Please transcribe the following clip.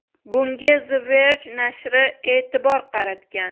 Bunga The Verge nashri e’tibor qaratgan .